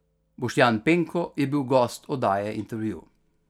Boštjan Penko je bil gost oddaje Intervju.